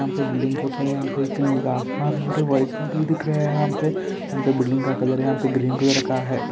यहाँ पे बिल्डिंग के ऊपर नीला आसमान और व्हाइट बादल देख रहे हैं यहाँ पे यहाँ पर बिल्डिंग का कलर यहाँ पर ग्रीन कलर का है |